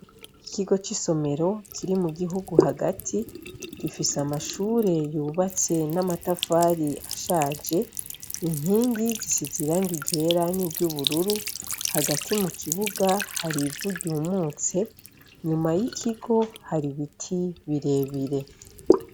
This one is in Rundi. Ikigo c'isomero kiri mu gihugu hagati gifise amashure yubatse n'amatafari ashaje inkingi zisize iranga ryera ni ry'ubururu, hagati mu kibuga hari ivu ryumutse nyuma y'ikigo hari ibiti birebire.